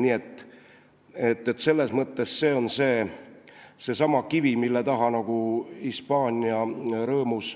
Nii et selles mõttes see on seesama kivi, mille taha Hispaania rõõmus